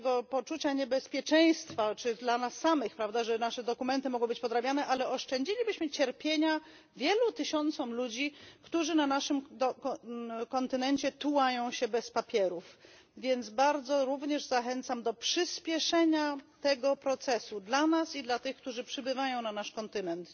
poczucia braku bezpieczeństwa, że nasze dokumenty mogą być podrabiane, ale oszczędzilibyśmy cierpienia wielu tysiącom ludzi, którzy na naszym kontynencie tułają się bez papierów. Więc bardzo również zachęcam do przyspieszenia tego procesu dla nas i dla tych, którzy przybywają na nasz kontynent.